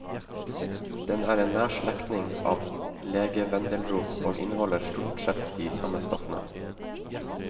Den er en nær slektning av legevendelrot, og inneholder stort sett de samme stoffene.